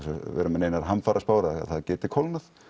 vera með neinar hamfaraspár að það geti kólnað